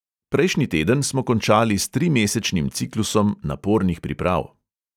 Prejšnji teden smo končali s trimesečnim ciklusom napornih priprav.